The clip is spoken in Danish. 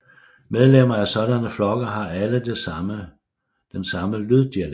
Medlemmer af sådanne flokke har alle den samme lyddialekt